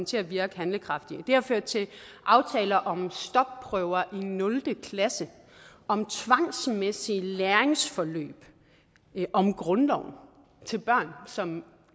til at virke handlekraftige det har ført til aftaler om stopprøver i nul klasse om tvangsmæssige læringsforløb om grundloven til børn som